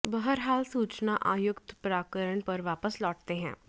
बहरहाल सूचना आयुक्त प्रकरण पर वापस लौटते हैं